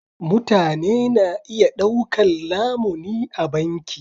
Mutane na iya ɗaukar lamuni a banki.